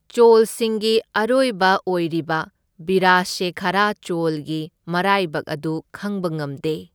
ꯆꯣꯜꯁꯤꯡꯒꯤ ꯑꯔꯣꯏꯕ ꯑꯣꯏꯔꯤꯕ, ꯕꯤꯔꯥꯁꯦꯈꯔꯥ ꯆꯣꯜꯒꯤ ꯃꯔꯥꯏꯕꯛ ꯑꯗꯨ ꯈꯪꯕ ꯉꯝꯗꯦ꯫